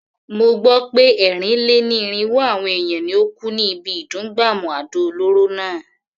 Mo gbó pé ẹ́rìn-lé-ní-irínwó àwọn èèyàn ni ó kú ní ibi ìdún gbàmù àdó olóró náà.